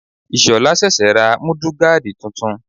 Ìshola sẹ̀sẹ̀ ra Múdúgáàdì titun.